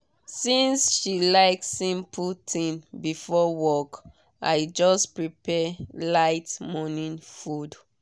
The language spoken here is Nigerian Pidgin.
since she like simple thing before work i just prepare light morning food.